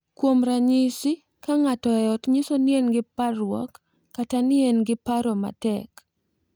Kuom ranyisi, ka ng’ato e ot nyiso ni en gi parruok kata ni en gi paro matek,